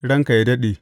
Ranka yă daɗe!